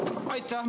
Aitäh!